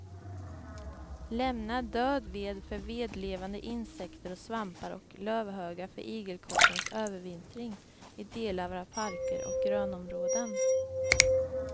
Lämna död ved för vedlevande insekter och svampar och lövhögar för igelkottens övervintring i delar av parker och grönområden.